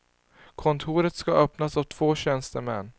Kontoret ska öppnas av två tjänstemän.